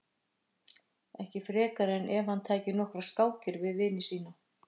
Ekki frekar en ef hann tæki nokkrar skákir við vini sína.